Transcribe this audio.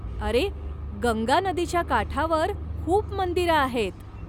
अरे, गंगा नदीच्या काठावर खूप मंदिरं आहेत.